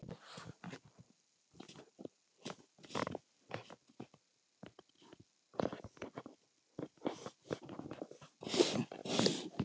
Mest pirrandi andstæðingurinn?